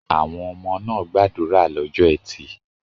Àwọn ọmọ náà gbàdúrà lọ́jọ́ ẹtì.